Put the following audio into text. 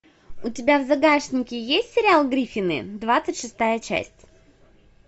у тебя в загашнике есть сериал гриффины двадцать шестая часть